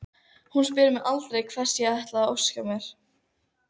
Hún spyr mig aldrei hvers ég ætli að óska mér.